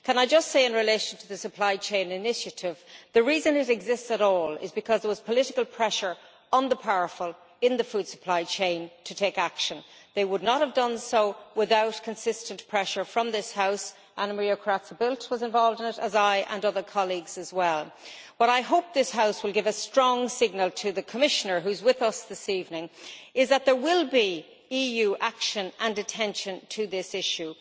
Can I just say in relation to the Supply Chain Initiative that the reason it exists at all is because there was political pressure on the powerful in the food supply chain to take action. They would not have done so without consistent pressure from this House. Anna Maria Corazza Bildt was involved in this, as was I, with other colleagues as well. I hope this House will give a strong signal to the Commissioner who is with us this evening that there will be EU action and attention to this issue.